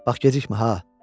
Bax gecikmə ha.